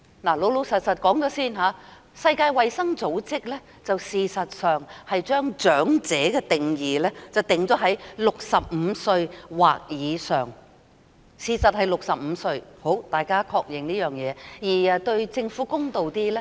老實說，世界衞生組織將長者的定義定於65歲或以上，事實上是65歲，大家可確認這件事而對政府公道一點。